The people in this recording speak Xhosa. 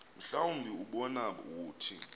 mhlawumbi ubani wothi